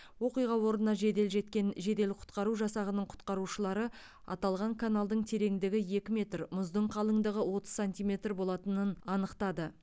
оқиға орнына жедел жеткен жедел құтқару жасағының құтқарушылары аталған каналдың тереңдігі екі метр мұздың қалыңдығы отыз сантиметр болатынын анықтады